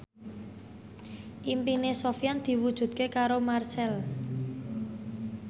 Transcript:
impine Sofyan diwujudke karo Marchell